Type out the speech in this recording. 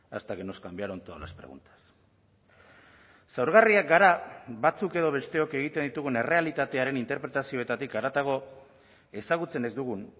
hasta que nos cambiaron todas las preguntas zaurgarriak gara batzuk edo besteok egiten ditugun errealitatearen interpretazioetatik haratago ezagutzen ez dugun